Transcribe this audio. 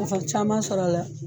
Nafa caman sɔrɔla